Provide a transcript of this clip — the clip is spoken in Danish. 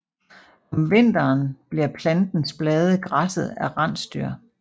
Om vinteren bliver plantens blade græsset af rensdyr